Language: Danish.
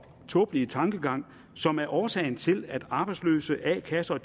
tåbelige tankegang som er årsagen til at de arbejdsløse a kasserne